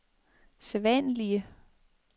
sædvanlige